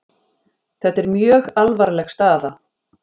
Þetta er mjög alvarleg staða